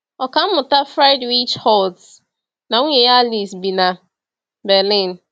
Ọkà mmụta Friedrich Holtz na nwunye ya Alice bi na Berlin.